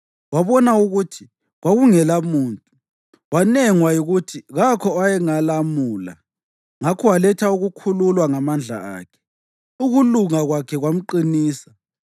Wabona ukuthi kwakungelamuntu, wanengwa yikuthi kakho owayengalamula; ngakho waletha ukukhululwa ngamandla akhe, ukulunga kwakhe kwamqinisa.